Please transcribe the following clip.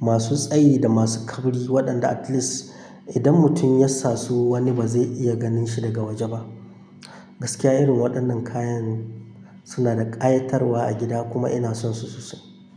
masu tsayi da masu kauri waɗanda at least idan mutum ya sassu wani ba zai iya ganin shi daga waje ba. Gaskiya irin waɗannan kayan suna da ƙayatarwa a gida kuma ina son su sosai.